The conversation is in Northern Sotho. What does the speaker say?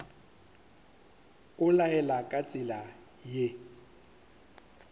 o laela ka tsela ye